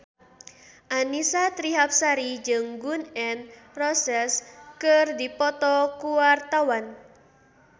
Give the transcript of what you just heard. Annisa Trihapsari jeung Gun N Roses keur dipoto ku wartawan